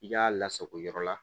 I k'a lasako yɔrɔ la